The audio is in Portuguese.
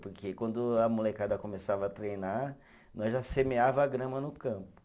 Porque quando a molecada começava a treinar, nós já semeava a grama no campo.